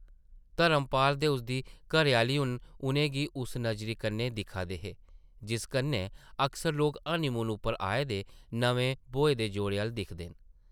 धर्मपाल ते उसदी घरै-आह्ली हून उʼनें गी उस नज़री कन्नै दिक्खा दे हे ,जिस कन्नै अक्सर लोक हनीमून उप्पर आए दे नमें ब्योहे दे जोड़े अʼल्ल दिखदे न।